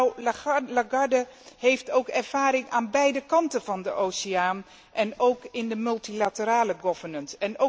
Mevrouw Lagarde heeft ook ervaring aan beide kanten van de oceaan en ook in de multilaterale governance